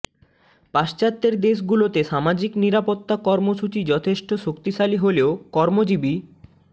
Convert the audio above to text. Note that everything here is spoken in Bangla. পাশ্চাত্যের দেশগুলোতে সামাজিক নিরাপত্তা কর্মসূচি যথেষ্ট শক্তিশালী হলেও কর্মজীবী